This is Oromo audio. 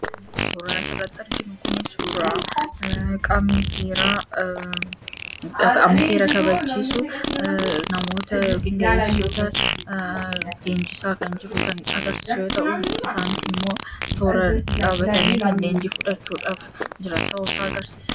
Suuraan asirratti arginu kun suuraa qaamni seera kabachiisu namoota poolisoota leenjisaa jiru kan agarsiisu yoo ta’u, isaanis immoo tooraan dhaabbatanii kan leenjii fushachuuf jiran ta'uu isaa agarsiisa.